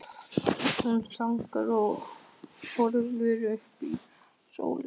Hún þagnaði og horfði upp í sólina.